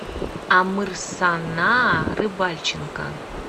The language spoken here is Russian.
амырсана рыбальченко